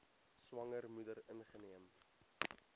swanger moeder ingeneem